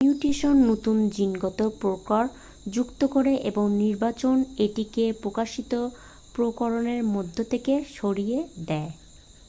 mutation নতুন জিনগত প্রকরণ যুক্ত করে এবং নির্বাচন এটিকে প্রকাশিত প্রকরণের মধ্যে থেকে সরিয়ে দেয়